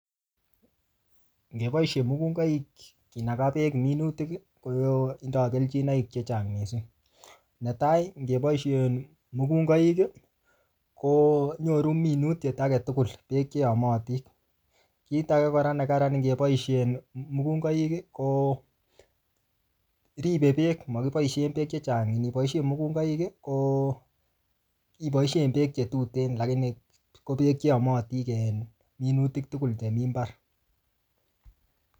Ngeboisie mukungoik kinaga beek minutik ii ko tindoi kelchinoik che chang mising, netai ngeboisien mukungoik ii, ko nyoru minutiet ake tugul beek che yomotin, kiit ake kora ne karan ngeboisien mukungoik ii, ko ribe beek makiboisie beek che chang niboisien mukungoik ii ko, iboisien beek che tuten lakini ko beek che yomotin minutik tugul chemi mbar.